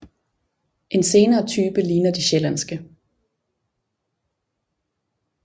En senere type ligner de sjællandske